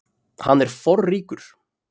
Hann er forríkur.